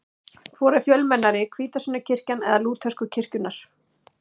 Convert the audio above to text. Hvor er fjölmennari, hvítasunnukirkjan eða lútersku kirkjurnar?